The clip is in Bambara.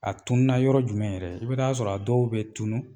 A tuuna yɔrɔ jumɛn yɛrɛ? I bɛ taa'a sɔrɔ a dɔw bɛ tunun